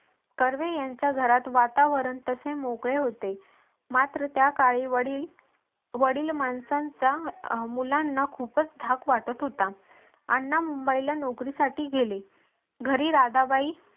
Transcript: कर्वे यांच्या घरात वातावरण तर तसे मोकळे होते. मात्र त्याकाळी वडील वडील माणसांचा अह मुलांना खूपच धाक वाटत होता. अण्णा मुंबईला नोकरीसाठी गेले. घरी राधाबाई